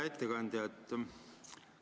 Hea ettekandja!